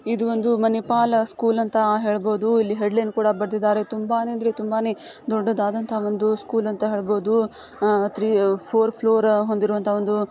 ಇದು ಒಂದು ಮಣಿಪಾಲ್ ಸ್ಕೂಲ್ ಅಂತ ಹೇಳ್ಬಹುದು ಇಲ್ಲಿ ಹೆಡ್ ಲೈನ್ ಕೂಡ ಬರ್ದಿದ್ದಾರೆ ತುಂಬಾನೇ ಅಂದ್ರೆ ತುಂಬನೇ ದೊಡ್ಡ್ ದಾದಂತ ಒಂದು ಸ್ಕೂಲ್ ಅಂತ ಹೇಳ್ ಬೋದು ಒಂದು ಫೋರ್ ಫ್ಲೋರ್ ಹೊಂದಿರುವಂತ ಒಂದು--